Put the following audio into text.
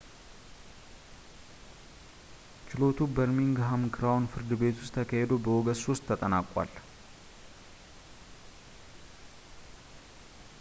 ችሎቱ በርሚንግሃም ክራውን ፍርድ ቤት ውስጥ ተካሂዶ በኦገስት 3 ተጠናቋል